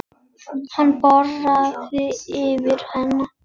Hann bograði yfir henni.